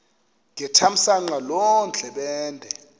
ngethamsanqa loo ndlebende